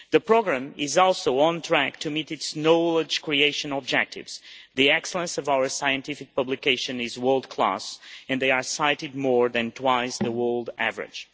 The programme is also on track to meet its knowledge creation objectives. The excellence of our scientific publication is world class, and they are cited more than twice the world average.